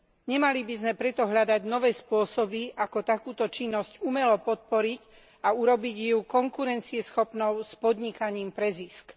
Nemali by sme preto hľadať nové spôsoby ako takúto činnosť umelo podporiť a urobiť ju konkurencieschopnou s podnikaním pre zisk.